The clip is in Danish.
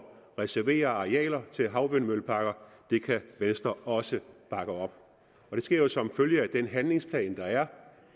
reservere arealer til havvindmølleparker det kan venstre også bakke op det sker jo som følge af den handlingsplan der er